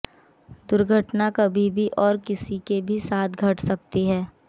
दुर्घटना कभी भी और किसी के साथ भी घट सकती है